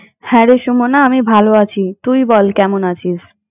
হ্যাঁ, রে সুমনা আমি ভালো আছি তুই বল কেমন আছিস?